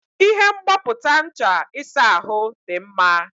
Ihe mgbapụta ncha ịsa ahụ dị mma.